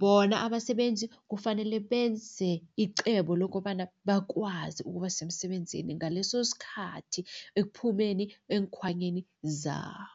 Bona abasebenzi kufanele benze icebo lokobana bakwazi ukuba semsebenzini ngaleso skhathi ekuphumeni eenkhwanyeni zabo.